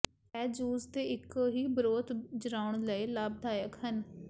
ਇਹ ਜੂਸ ਦੇ ਇੱਕੋ ਹੀ ਬ੍ਰੌਥ ਜਰਾਉਣ ਲਈ ਲਾਭਦਾਇਕ ਹਨ